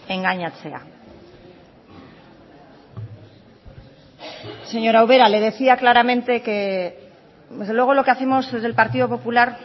engainatzea señora ubera le decía claramente que desde luego lo que hacemos desde el partido popular